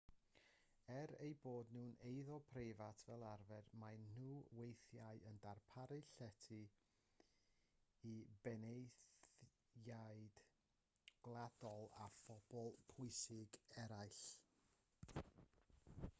er eu bod nhw'n eiddo preifat fel arfer maen nhw weithiau yn darparu llety i benaethiaid gwladol a phobl bwysig eraill